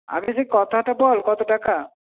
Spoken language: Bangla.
আগে তুই কোথা তো বল কত টাকা